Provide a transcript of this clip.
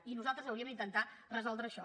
i nosaltres hauríem d’intentar resoldre això